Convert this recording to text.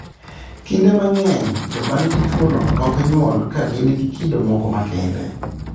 Kinde mang'eny, joma nigi tuwono ok nyuol ka gin gi kido moko makende.